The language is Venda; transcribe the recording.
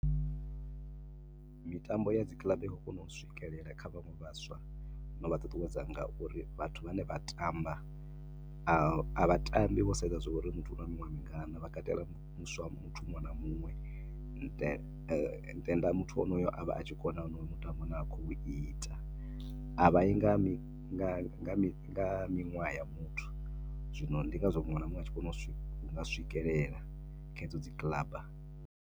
Mitambo ya dzi kiḽaba i khou kona u swikelela kha vhaṅwe vhaswa na u vha ṱuṱuwedza nga uri vhathu vhane vha tamba a vha tambi vho sedza zwa uri muthu u na miṅwaha mingana, vha katela muswa, muthu muṅwe na muṅwe. Tenda muthu a tshi kona onoyo mutambo u ne a khou ita. A vha yi nga mi, a vha yi nga miṅwaha ya muthu. Zwino ndi ngazwo muṅwe na muṅwe a tshi kona u nga swikelela hedzo dzi kiḽaba.